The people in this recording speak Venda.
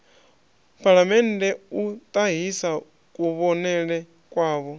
phalamennde u ṱahisa kuvhonele kwavho